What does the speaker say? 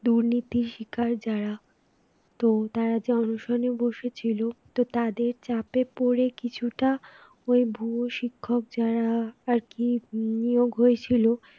দুর্নীতির শিকার যারা তো তারা অনশনে বসে ছিল তো তাদের চাপে পড়ে কিছুটা ওই ভুয়ো শিক্ষক যারা আর কি নিয়োগ হয়েছিল